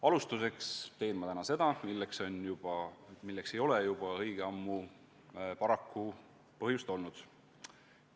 Alustuseks teen ma täna seda, milleks ei ole juba õige ammu paraku põhjust olnud.